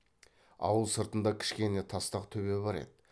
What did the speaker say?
ауыл сыртында кішкене тастақ төбе бар еді